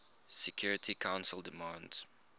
security council demands